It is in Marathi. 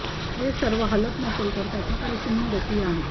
हे सर्व हलत नसेल तर त्याच्याकडे शून्य गती आहे